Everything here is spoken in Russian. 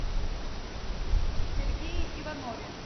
сергее иванове